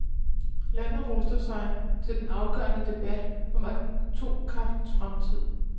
Landet ruster sig til den afgørende debat om atomkraftens fremtid.